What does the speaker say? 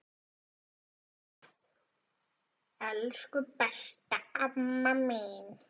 Elsku, besta amma mín.